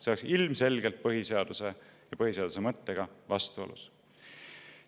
See oleks ilmselgelt põhiseaduse ja põhiseaduse mõttega vastuolus.